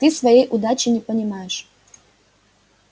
ты своей удачи не понимаешь